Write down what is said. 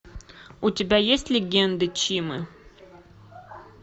у тебя есть легенды чимы